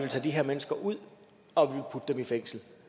tage de her mennesker ud og putte dem i fængsel